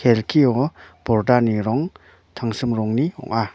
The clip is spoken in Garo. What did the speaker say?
kelkio pordani rong tangsim rongni ong·a.